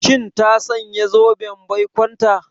Shin ta sanya zoben baikonta?